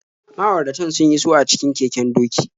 Ma'auratan sun iso a cikin keken doki.